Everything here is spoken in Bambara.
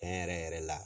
Tiɲɛ yɛrɛ yɛrɛ la